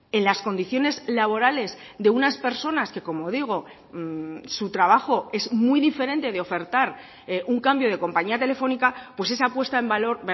en las condiciones laborales de unas personas que como digo su trabajo es muy diferente de ofertar un cambio de compañía telefónica pues esa apuesta en valor